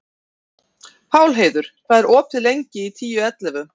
Pálheiður, hvað er lengi opið í Tíu ellefu?